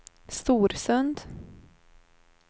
Storsund